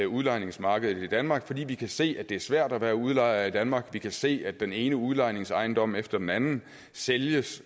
udlejningsmarkedet i danmark fordi vi kan se at det er svært at være udlejer i danmark vi kan se at den ene udlejningsejendom efter den anden sælges